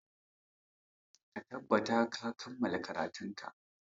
Ka tattabata ka kammala karatunka!